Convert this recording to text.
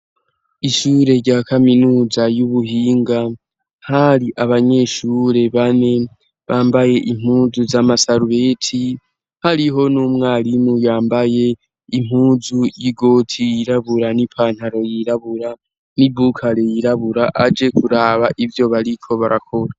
Ishure rya kaminuza y'ubuhinga, hari abanyeshure bane bambaye impuzu z'amasarubeti hariho n'umwarimu yambaye impuzu y'igoti yirabura n'ipantaro yirabura n'i bukare yirabura aje kuraba ivyo bariko barakora.